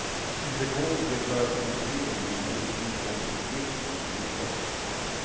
Eller gå till deklarationsbyrån med en bunt inkomstuppgifter och kvitton.